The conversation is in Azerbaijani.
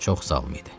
Çox sağlam idi.